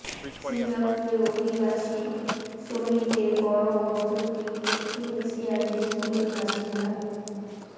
সিঙ্গাপুরে অভিবাসী শ্রমিকদের বড় অংশটি দক্ষিণ এশিয়ার দেশগুলোর বাসিন্দা